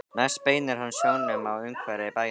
Næst beinir hann sjónum að umhverfi bæjarins.